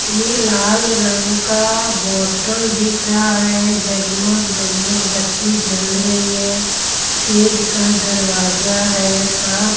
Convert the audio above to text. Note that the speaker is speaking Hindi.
ये लाल रंग का बोटल दिख रहा है जग-मग जग-मग बत्ती जल रही है शेड का दरवाजा है साफ --